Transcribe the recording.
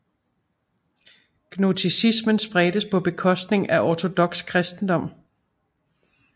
Gnosticismen spredtes på bekostning af ortodoks kristendom